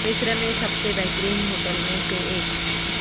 مصر میں سب سے بہترین ہوٹل میں سے ایک